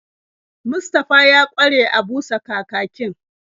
Mustafa ya ƙware a busa kakakin.